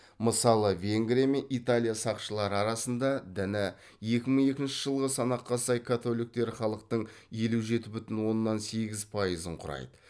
мысалы венгрия мен италия сақшылары арасында діні екі мың екінші жылғы санаққа сай католиктер халықтың елу жеті бүтін оннан сегіз пайызын құрайды